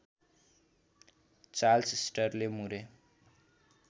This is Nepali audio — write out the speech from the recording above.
चार्ल्स स्टर्टले मुरे